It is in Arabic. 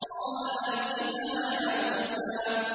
قَالَ أَلْقِهَا يَا مُوسَىٰ